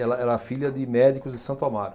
Ela era filha de médicos de Santo Amaro.